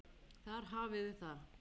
Þar hafiði það.